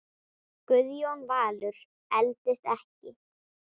Guðjón Valur eldist ekki.